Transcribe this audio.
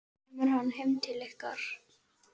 Kemur hann heim til ykkar?